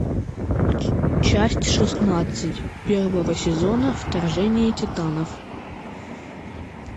часть шестнадцать первого сезона вторжение титанов